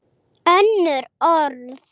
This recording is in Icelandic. Önnur orð.